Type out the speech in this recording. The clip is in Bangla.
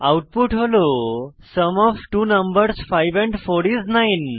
আউটপুট হল sum of two numbers 5 4 is 9